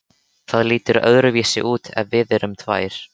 Það lítur öðruvísi út ef við erum tvær.